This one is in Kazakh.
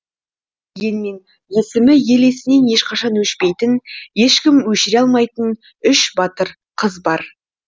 дегенмен есімі ел есінен ешқашан өшпейтін ешкім өшіре алмайтын үш батыр қыз бар